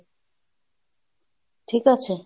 ঠিক আছে?